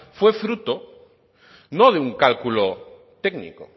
fue fruto no de un cálculo técnico